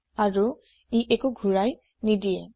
আৰু ই একো ঘোৰায় নিদিয়ে